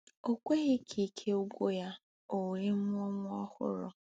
O kweghị ka ike gwụ ya, o wee mụọ nwa ọhụrụ.